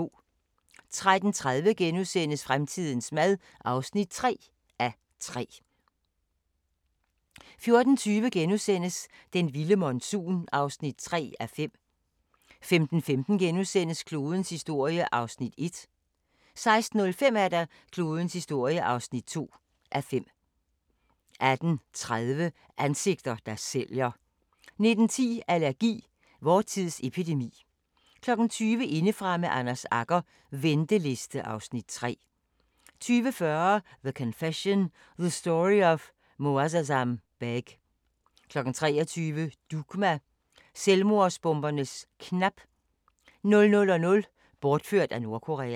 13:30: Fremtidens mad (3:3)* 14:20: Den vilde monsun (3:5)* 15:15: Klodens historie (1:5)* 16:05: Klodens historie (2:5) 18:30: Ansigter, der sælger 19:10: Allergi: Vor tids epidemi 20:00: Indefra med Anders Agger - venteliste (Afs. 3) 20:45: The Confession – The Story of Moazzam Begg 23:00: Dugma: Selvmordsbomberens knap 00:00: Bortført af Nordkorea